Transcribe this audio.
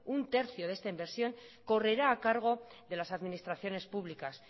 un tercio de esta inversión correrá a cargo de las administraciones públicas